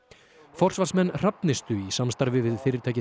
forsvarsmenn Hrafnistu í samstarfi við fyrirtækið